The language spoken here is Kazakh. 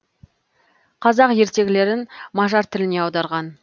қазақ ертегілерін мажар тіліне аударған